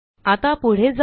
आता पुढे जाऊ